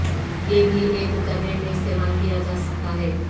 یہ بھی ایک اترنے میں استعمال کیا جا سکتا ہے